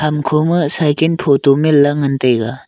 hamko ma cycle photo manla ngantaiaga.